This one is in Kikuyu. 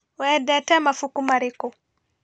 Wendete mabuku marĩkũ?